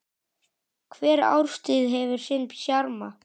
Hver árstíð hefur sinn sjarma.